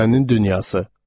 Dünənin dünyası.